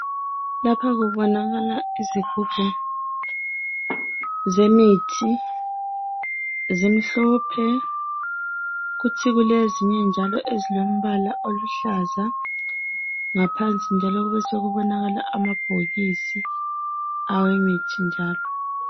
Lapha kubonakala izigubhu zemithi zimhlophe kube lezinye njalo ezilombala oluhlaza ngaphansi njalo kube sokubonakala amabhokisi awemithi njalo.